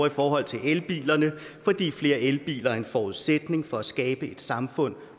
i forhold til elbilerne fordi flere elbiler er en forudsætning for at skabe et samfund